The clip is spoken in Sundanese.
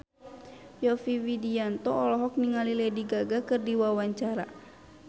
Yovie Widianto olohok ningali Lady Gaga keur diwawancara